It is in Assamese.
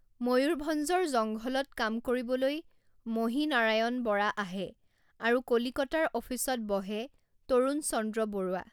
ময়ূৰভঞ্জৰ জংঘলত কাম কৰিবলৈ মহীনাৰায়ণ বৰা আহে আৰু কলিকতাৰ অফিচত বহে তৰুণচন্দ্ৰ বৰুৱা।